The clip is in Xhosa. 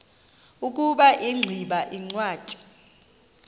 ukuba ingximba yincwadi